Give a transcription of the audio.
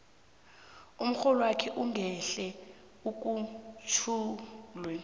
umrholwakho ungahle ukhutjhulwe